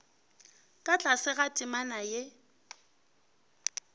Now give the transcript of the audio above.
ka tlase ga temana ge